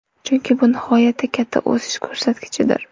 Chunki bu nihoyatda katta o‘sish ko‘rsatkichidir.